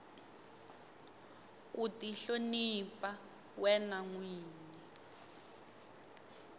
ku tihlonipa wena nwini